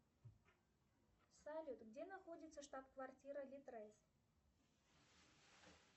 салют где находится штаб квартира литрес